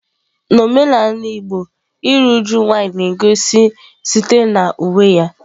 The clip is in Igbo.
N'omenala igbo iru uju nwanyị na-egosi site na uwe ya.